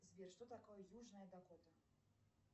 сбер что такое южная дакота